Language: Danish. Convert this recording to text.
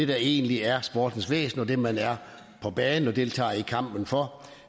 der egentlig er sportens væsen og det man er på banen og deltager i kampen for